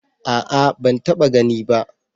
A'a ban taba gani ba